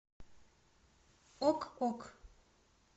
ок ок